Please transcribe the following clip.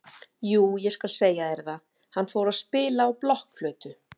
Jú ég skal segja þér það, hann fór að spila á blokkflautu.